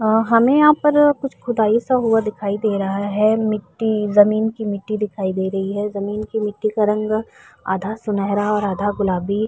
آ ہمیں یہاں پر کچھ خدائی سا ہوا دکھائی دے رہا ہے۔ متی جمین کی، متی دکھائی دے رہی ہے۔ جمین کی متی کا رنگ آدھا سنہرا آدھا گلابی --